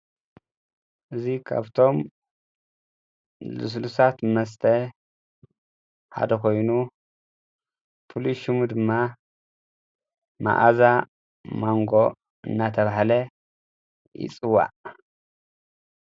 እዙይ ካብቶም ልስሉሳት መስተ ሓደ ኮይኑ ፍሉይ ሽሙ ድማ መዓዛ ማንጎ እናተባህለ ይፅዋዕ።